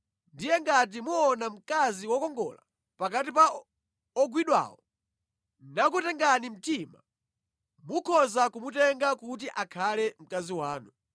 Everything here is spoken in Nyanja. ndiye ngati muona mkazi wokongola pakati pa ogwidwawo nakutengani mtima, mukhoza kumutenga kuti akhale mkazi wanu.